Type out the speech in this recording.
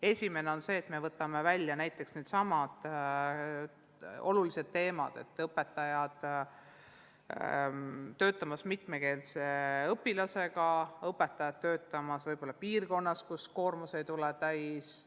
Esimene on see, et võtame välja needsamad olulised teemad: õpetajad töötamas mitmekeelsete õpilastega ja õpetajad töötamas piirkonnas, kus koormus ei tule täis.